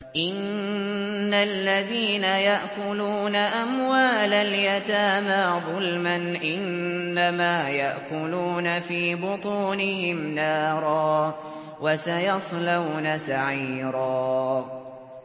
إِنَّ الَّذِينَ يَأْكُلُونَ أَمْوَالَ الْيَتَامَىٰ ظُلْمًا إِنَّمَا يَأْكُلُونَ فِي بُطُونِهِمْ نَارًا ۖ وَسَيَصْلَوْنَ سَعِيرًا